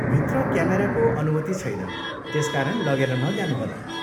भित्र क्यामेराको अनुमति छैन, त्यसकारण लगेर नजानुहोला।